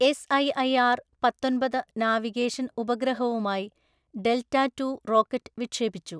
S IIR പത്തൊന്‍പത് navigation ഉപഗ്രഹവുമായി delta two rocket വിക്ഷേപിച്ചു.